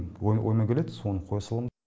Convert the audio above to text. ойыма келеді соны қоя салам